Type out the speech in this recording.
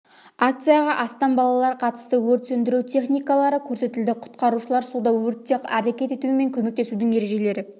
акцияға астам балалар қатысты өрт сөндіру техникалары көрсетілді құтқарушылар суда өртте әрекет ету мен көмектесудің ережелері